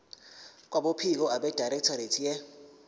kwabophiko abedirectorate ye